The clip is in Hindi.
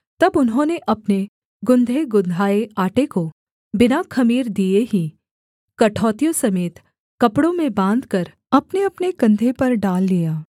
तब उन्होंने अपने गुँधेगुँधाए आटे को बिना ख़मीर दिए ही कठौतियों समेत कपड़ों में बाँधकर अपनेअपने कंधे पर डाल लिया